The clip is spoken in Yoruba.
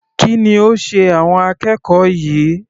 Kí ni ó sé àwọn akẹ́kọ̀ọ́ yìí?